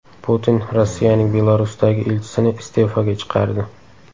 Putin Rossiyaning Belarusdagi elchisini iste’foga chiqardi.